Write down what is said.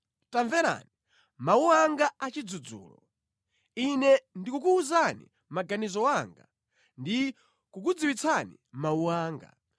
Tamverani mawu anga a chidzudzulo. Ine ndikukuwuzani maganizo anga ndi kukudziwitsani mawu anga.